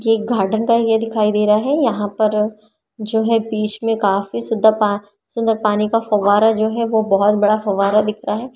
ये एक गार्डन का एरिया दिखाई दे रहा है यहाँ पर जो है बीच में काफी सीधा पा सुंदर पानी का फवारा जो है वो बहुत बड़ा फवारा दिख रहा है।